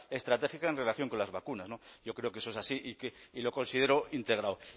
estratégica en relación con las vacunas no yo creo que eso es así y lo considero integrado